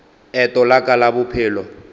eto la ka la bophelo